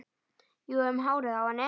Jú, um hárið á henni!